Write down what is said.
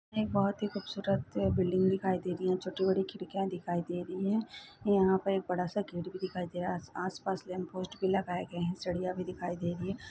बहुत ही खूबसूरत बिल्डिंग दिखाई दे रही है छोटी बड़ी खिड़कियाँ दिखाई दे रही है यहाँ पर एक बड़ा सा गेट दिखाई दे रहा है आस पास लैम्प पोस्ट लगाए गए है सीढ़िया भी दिखाई दे रही हैं ।